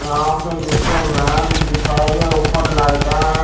यहाँ पे निचे मेट बिछाये गया उपर लाइटा है।